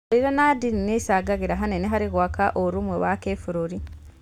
Ũndũire na ndini nĩ icangagĩra hanene harĩ gwaka ũrũmwe wa gĩbũrũri.